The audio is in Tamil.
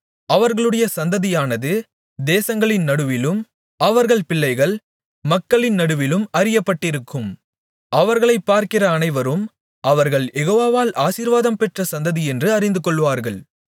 அவர்களுடைய சந்ததியானது தேசங்களின் நடுவிலும் அவர்கள் பிள்ளைகள் மக்களின் நடுவிலும் அறியப்பட்டிருக்கும் அவர்களைப் பார்க்கிற அனைவரும் அவர்கள் யெகோவாவால் ஆசீர்வாதம் பெற்ற சந்ததியென்று அறிந்துகொள்வார்கள்